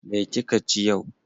Me kika ci yau?